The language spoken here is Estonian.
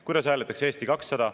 Kuidas hääletaks Eesti 200?